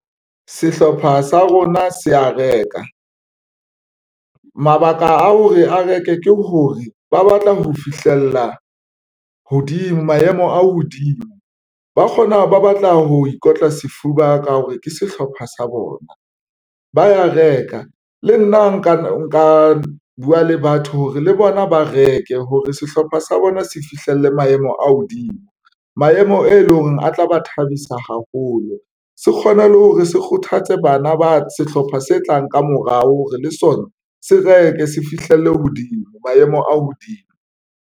Sehlopha sa rona se ya reka mabaka a hore a reke ke hore ba batla ho fihlella hodimo maemo a hodimo ba kgona ba batla ho ikotla sefuba ka hore ke sehlopha sa bona. Ba ya reka le nna nka buwa le batho hore le bona ba reke hore sehlopha sa bona se fihlelle maemo a hodimo maemo e leng hore a tla ho ba thabisa haholo, se kgone le hore se kgothatse bana ba sehlopha se tlang. Ka morao re le sona, se reke se fihlelle hodimo maemo a hodimo.